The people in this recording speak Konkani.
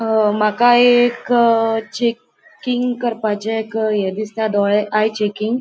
अ माका ये एक चेकिंग करपाचे एक ये दिसता डोळे आय चेकिंग --